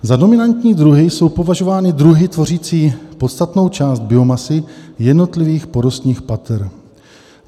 "Za dominantní druhy jsou považovány druhy tvořící podstatnou část biomasy jednotlivých porostních pater.